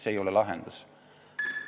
See ei ole lahendus.